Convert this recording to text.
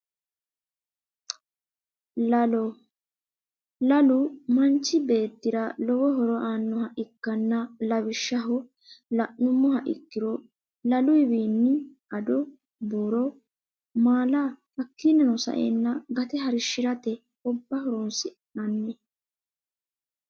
Lalo lalu manchi beetira lowo horo aanoha ikanna lawishaho la`numoha ikiro laluyiwiini addo buuro maala hakiinino sa`eena gate harishirate obba horonsinani.